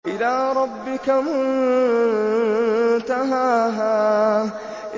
إِلَىٰ رَبِّكَ مُنتَهَاهَا